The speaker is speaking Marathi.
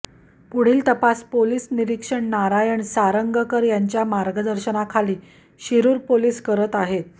पुढील तपास पोलीस निरीक्षक नारायण सांरगकर यांच्या मार्गदर्शनाखाली शिरुर पोलीस करत आहेत